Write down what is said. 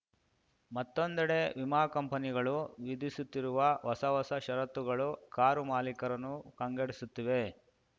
ಮತ್ತೊಂದೆಡೆ ವಿಮಾ ಕಂಪನಿಗಳು ವಿಧಿಸುತ್ತಿರುವ ಹೊಸ ಹೊಸ ಷರತ್ತುಗಳು ಕಾರು ಮಾಲಿಕರನ್ನು ಕಂಗೆಡಿಸುತ್ತಿವೆ